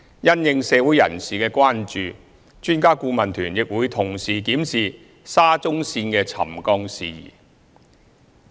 因應社會人士的關注，專家顧問團亦會同時檢視沙中線的沉降事宜。